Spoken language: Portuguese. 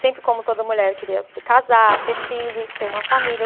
Sempre, como toda mulher, queria casar, ter filhos, ter uma família.